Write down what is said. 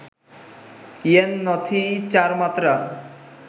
ইয়ে ন্য থিই’ চার মাত্রা